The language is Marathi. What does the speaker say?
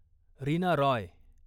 रीना रॉय